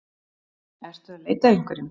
Ertu að leita að einhverjum?